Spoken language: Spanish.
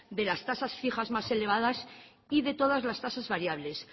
de las tasas fijas más elevadas y de todas las tasas variables